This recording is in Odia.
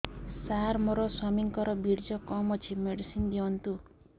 ସାର ମୋର ସ୍ୱାମୀଙ୍କର ବୀର୍ଯ୍ୟ କମ ଅଛି ମେଡିସିନ ଦିଅନ୍ତୁ